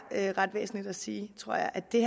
ret væsentligt at sige tror jeg at det